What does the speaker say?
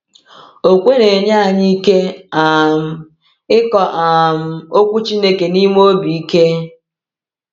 Okwukwe na-enye anyị ike um ịkọ um Okwu Chineke n’ime obi ike.